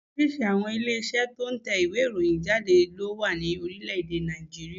Oríṣìíríṣìí àwọn ilé Iṣẹ́ tó n tẹ ìwé ìròyìn jáde ló wà ní Orílẹ̀dè Nàìjíríà